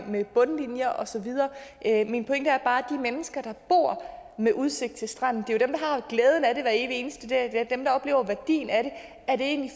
med bundlinjer osv min pointe er bare at de mennesker der bor med udsigt til stranden har glæden af det hver evig eneste dag det er dem der oplever værdien af det er det egentlig